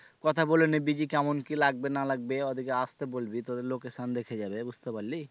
কথা বলে নিবি যে কেমন কি লাগবে না লাগবে ওদের কে আসতে বলবি তোদের location দেখে যাবে বুঝতে পারলি?